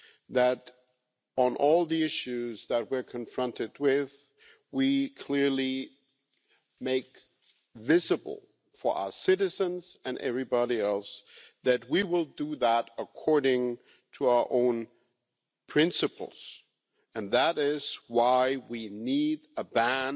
that on all the issues that we are confronted with we clearly make visible to our citizens and everybody else that we will do that according to our own principles, and that is why we need a ban